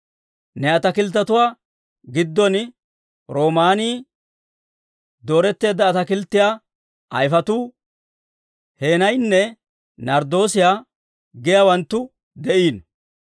Ne ataakilttetuwaa giddon: roomaanii, dooretteedda ataakilttiyaa ayifetuu, heenayinne narddoosiyaa giyaawanttu de'iino.